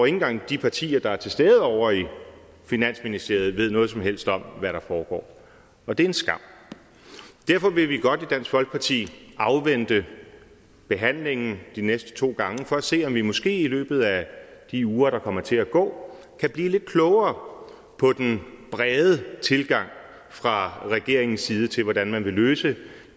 engang de partier der er til stede ovre i finansministeriet ved noget som helst om hvad der foregår og det er en skam derfor vil vi godt i dansk folkeparti afvente behandlingen de næste to gange for at se om vi måske i løbet af de uger der kommer til at gå kan blive lidt klogere på den brede tilgang fra regeringens side til hvordan man vil løse